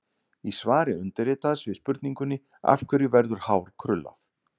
Í svari undirritaðs við spurningunni: Af hverju verður hár krullað?